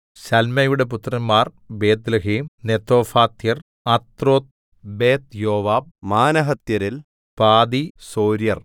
ശല്മയുടെ പുത്രന്മാർ ബേത്ത്ലേഹേം നെതോഫാത്യർ അത്രോത്ത്ബേത്ത്യോവാബ് മാനഹത്യരിൽ പാതി സൊര്യർ